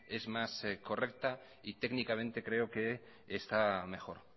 es más correcta y técnicamente creo que está mejor